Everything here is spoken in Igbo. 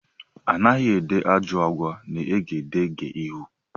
Anaghị ede ajọ àgwà n' egedegeihū.